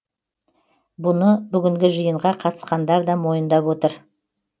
бұны бүгінгі жиынға қатысқандар да мойындап отыр